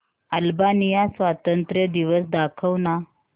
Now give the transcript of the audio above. Albania स्वातंत्र्य दिवस दाखव ना